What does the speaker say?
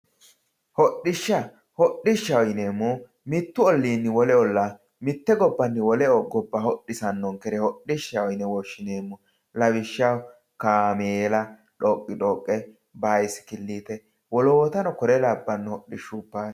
Hodhishsha, hodhishshaho yineemmohu mitu ollinni wole olla mite gobbanni wole gobba hodhissanonkere hodhishshaho yine woshshineemmo lawishshaho kaameela dhoqidhoqe, basikilite woloottano kure labbano hodhishshoti no.